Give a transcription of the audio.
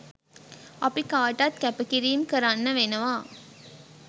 අපි කාටත් කැපකිරීම් කරන්න වෙනවා.